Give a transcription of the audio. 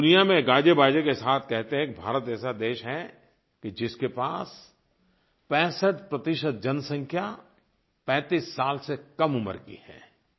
हम दुनिया में गाजेबाजे के साथ कहते हैं कि भारत ऐसा देश है कि जिसके पास 65 जनसंख्या 35 साल से कम उम्र की है